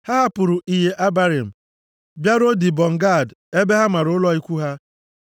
Ha hapụrụ Iye Abarim bịaruo Dibọn Gad ebe ha mara ụlọ ikwu ha.